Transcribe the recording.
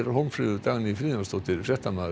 Hólmfríður Dagný Friðjónsdóttir fréttamaður